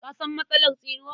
Ka san matsalar tsinuwa?